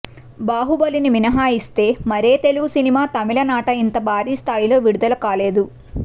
బాహుబలిని మినహాయిస్తే మరే తెలుగు సినిమా తమిళనాట ఇంత భారీ స్థాయిలో విడుదల కాలేదు